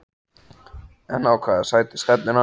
En á hvaða sæti stefnir hann?